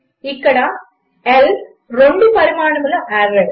ఇక్కడ L రెండు పరిమాణముల ఆర్రే